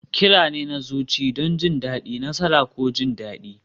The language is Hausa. Kira ne na zuci don jin daɗi, nasara, ko jin daɗi.